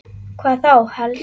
Hvað þá helst?